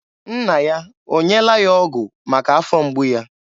Nna ya o nyeela ya ọgụ maka afọ mgbu ya?